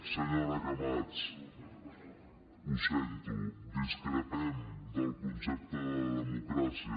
senyora camats ho sento discrepem del concepte de democràcia